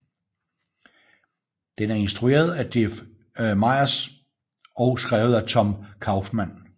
Den er instrueret af Jeff Myers og skrevet af Tom Kauffman